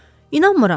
"İnanmıram.